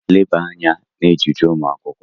Leba anya n'ejiji ụmụ akwụkwọ!